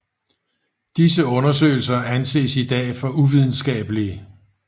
Disse undersøgelser anses i dag for uvidenskabelige